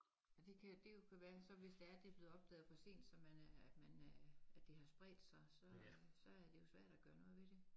Men det kan det jo kan være så hvis det er det blevet opdaget for sent så man er man er at det har spredt sig så er det jo svært at gøre noget ved det